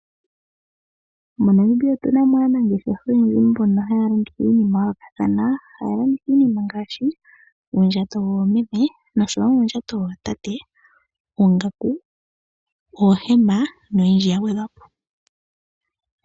Monamibia otunamo aanangeshefa haya longo iinima ya yoolokathana . Ohaya longo iinima ngaashi ngaashi uundjato woomeme noshowo uudjato wootate, oongaku noohema noondjato.